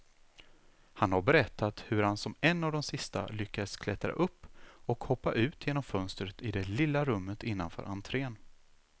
Han har berättat hur han som en av de sista lyckas klättra upp och hoppa ut genom fönstret i det lilla rummet innanför entrén.